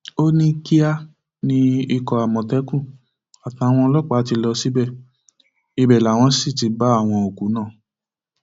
ó ní kíá ni ikọ àmọtẹkùn àtàwọn ọlọpàá ti lọ síbẹ ibẹ làwọn sì ti bá àwọn òkú náà